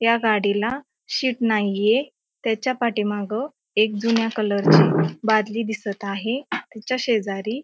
या गाडीला शीट नाहीये त्याच्या पाठीमाग एक जुन्या कलर ची बादली दिसत आहे त्याच्या शेजारी --